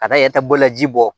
Ka da etabɔla ji bɔ